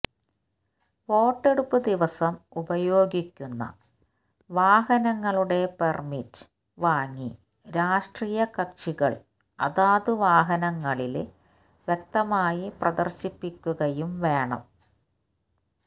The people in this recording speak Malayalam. വോട്ടെടുപ്പ് ദിവസം ഉപയോഗിക്കുന്ന വാഹനങ്ങളുടെ പെര്മിറ്റ് വാങ്ങി രാഷ്ട്രീയ കക്ഷികള് അതത് വാഹനങ്ങളില് വ്യക്തമായി പ്രദര്ശിപ്പിക്കുകയും വേണം